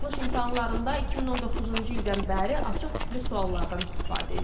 Buraxılış imtahanlarında 2019-cu ildən bəri açıq tipli suallardan istifadə edilir.